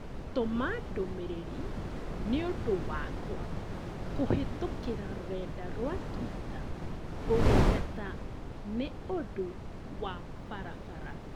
Tũma ndũmĩrĩri nũndũ wakwa kũhĩtũkĩra rũrenda rũa tũita ũgĩteta nĩ ũndũ wa barabara